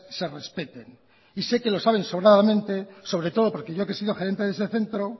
se respete y sé que lo saben sobradamente sobre todo yo que he sido gerente de ese centro